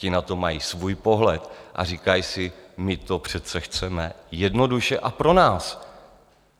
Ti na to mají svůj pohled a říkají si: My to přece chceme jednoduše a pro nás.